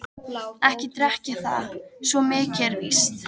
Ekki drekk ég það, svo mikið er víst.